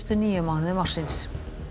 níu mánuðum ársins